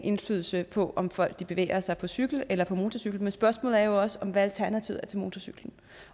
indflydelse på om folk bevæger sig på cykel eller på motorcykel men spørgsmålet er jo også hvad alternativet er til motorcyklen